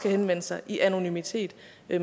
henvende sig i anonymitet